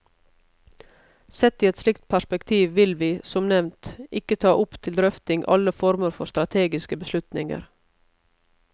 Sett i et slikt perspektiv vil vi, som nevnt, ikke ta opp til drøfting alle former for strategiske beslutninger.